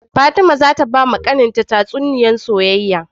Fatima zata bawa kAnan ta tatsuniyar soyyaya